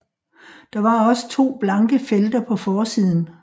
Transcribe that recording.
Der var også to blanke felter på forsiden